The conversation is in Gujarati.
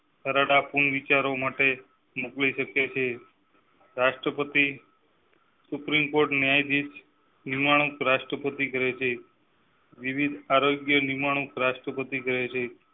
વિચારો માટે મોકલી શકે છે. રાષ્ટ્રપતિ સુપ્રીમ કોર્ટ ન્યાયાધીશ નિમણૂક રાષ્ટ્રપતિ કરેં છે. વિવિધ આરોગ્ય નિમણૂક, રાષ્ટ્રપતિ કરેં છે